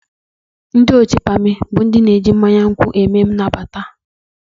Ndị otu pamị bụ ndị ji mmanya nkwụ eme anabata